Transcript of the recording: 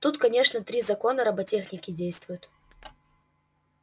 тут конечно три закона роботехники действуют